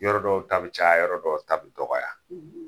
Yɔrɔ dɔw ta be caya, yɔrɔ dɔw ta be dɔgɔya.